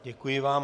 Děkuji vám.